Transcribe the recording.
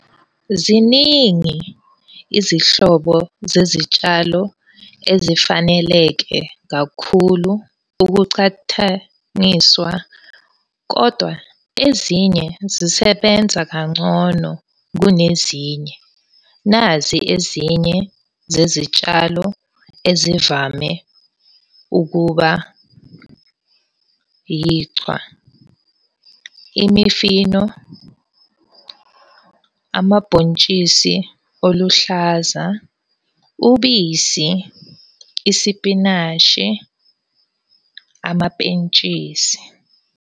Ziningi izihlobo zezitshalo ezifaneleke kakhulu ukuchathaniswa. Kodwa ezinye zisebenza kangcono kunezinye. Nazi ezinye zezitshalo ezivame ukuba yichwa. Imifino, amabhontshisi oluhlaza, ubisi, isipinashi, amapentshisi,